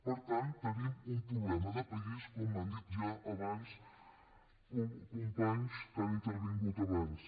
per tant tenim un problema de país com han dit ja companys que han intervingut abans